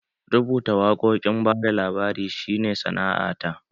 Rubuta waƙoƙin bada labari shi ne sana'a ta